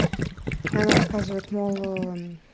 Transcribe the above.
она рассказывает мол ээ